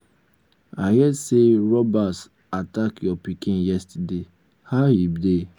i hear say robbers attack your pikin yesterday. how he dey?